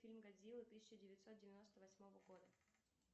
фильм годзилла тысяча девятьсот девяносто восьмого года